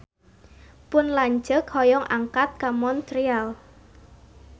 Pun lanceuk hoyong angkat ka Montreal